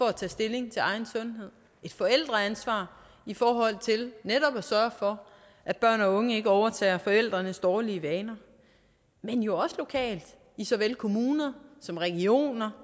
at tage stilling til egen sundhed et forældreansvar i forhold til netop at sørge for at børn og unge ikke overtager forældrenes dårlige vaner men jo også lokalt i såvel kommuner som regioner